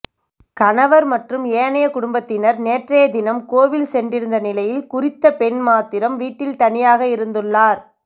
கணவர் மற்றும் ஏனைய குடும்பத்தினர் நேற்றையதினம் கோவில் சென்றிருந்த நிலையில் குறித்த பெண் மாத்திரம் வீட்டில் தனியாக இருந்துள்ளார்